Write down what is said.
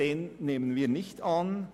Deshalb nehmen wir diesen nicht an.